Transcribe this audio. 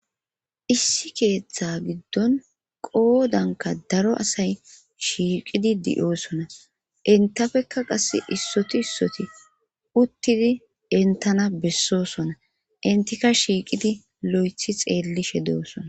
issi keeththa giddon qoodanka daro asay shiiqidi di7oosona intafekka qass issoti issoti uttidi entana bessosona intika shiiqidi lo7ethi xeellishe deosona